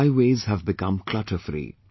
Highways have become clutterfree